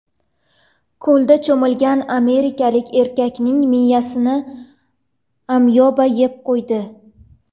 Ko‘lda cho‘milgan amerikalik erkakning miyasini amyoba yeb qo‘ydi.